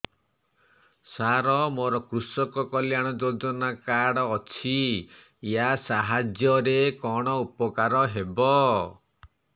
ସାର ମୋର କୃଷକ କଲ୍ୟାଣ ଯୋଜନା କାର୍ଡ ଅଛି ୟା ସାହାଯ୍ୟ ରେ କଣ ଉପକାର ହେବ